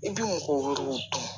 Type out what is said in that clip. I bi mɔgɔ wɛrɛw dun